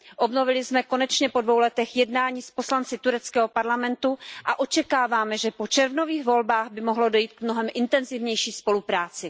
Obnovili jsme konečně po dvou letech jednání s poslanci tureckého parlamentu a očekáváme, že po červnových volbách by mohlo dojít k mnohem intenzivnější spolupráci.